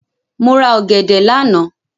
Mo rà ọ̀gẹ̀dẹ̀ lánàá.